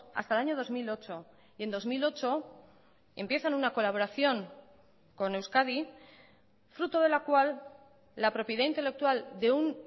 hasta el año dos mil ocho y en dos mil ocho empiezan una colaboración con euskadi fruto de la cual la propiedad intelectual de un